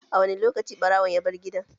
A wani lokaci ɓarawon ya bar gidan?